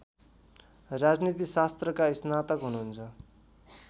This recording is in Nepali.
राजनीतिशास्त्रका स्नातक हुनुहुन्छ